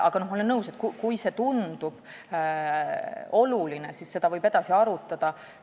Aga ma olen nõus, et kui see tundub oluline, siis võib seda edasi arutada.